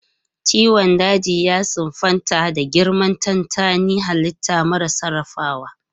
Ciwon daji ya siffanta da girmar tantanin halitta mara sarrafawa.